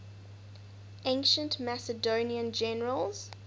ancient macedonian generals